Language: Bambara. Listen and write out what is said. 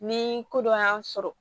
Ni ko dɔ y'an sɔrɔ